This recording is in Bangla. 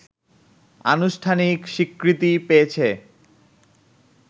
আনুষ্ঠানিক স্বীকৃতি পেয়েছে